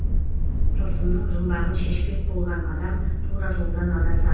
тылсымның жұмбағын шешпек болған адам тура жолдан адасады